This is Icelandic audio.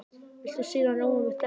Viltu sýrðan rjóma með tertunni?